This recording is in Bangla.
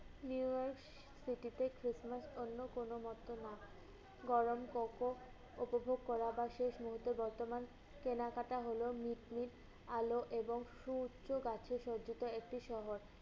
New York city তে Christmas অন্য কোন মত না। গরম coco উপভোগ করা বা শেষ মুহূর্তে বর্তমান কেনাকাটা হলো নিজ নিজ আলো এবং সুউচ্চ গাচ্ছ সজ্জিত একটি শহর।